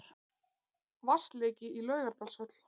Vatnsleki í Laugardalshöll